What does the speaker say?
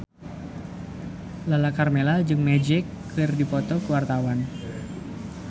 Lala Karmela jeung Magic keur dipoto ku wartawan